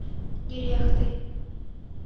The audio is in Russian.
нерехтой